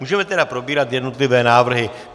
Můžeme tedy probírat jednotlivé návrhy.